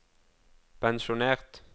pensjonert